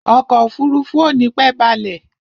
Ọkọ̀ òfurufú ò nípẹ́ balẹ̀.